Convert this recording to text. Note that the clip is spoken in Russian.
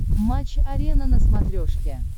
матч арена на смотрешке